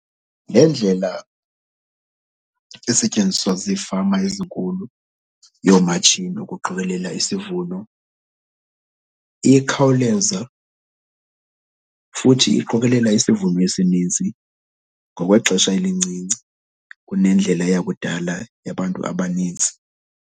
Le ndlela isetyenziswa ziifama ezinkulu yoomatshini ukuqikelela isivuno iye khawuleza futhi iqokelela isivuno esininzi ngokwexesha elincinci kunendlela yakudala yabantu abanintsi.